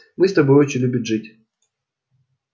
мы с тобой очень любим жить